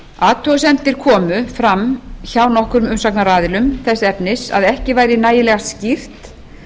athugasemdir komu fram hjá nokkrum umsagnaraðilum þess efnis að ekki væri nægilega skýrt